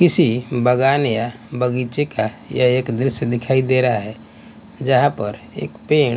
किसी बागान या बगीचे का यह एक दृश्य दिखाई दे रहा है जहाँ पर एक पेड़--